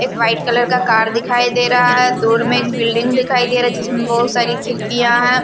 एक white colour का car दिखाई दे रहा है दूर में एक बिल्डिंग दिखाई दे रहा जिसमें बहुत सारी खिड़कियां हैं ।